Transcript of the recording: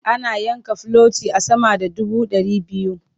Ana yanka filoti a sama da dubu ɗari biyu.